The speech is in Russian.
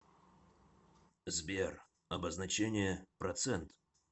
сбер обозначение процент